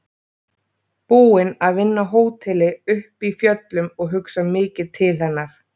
Búin að vinna á hóteli uppi í fjöllum og hugsa mikið til hennar.